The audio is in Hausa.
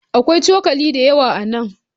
Akwai cokali da yawa a nan.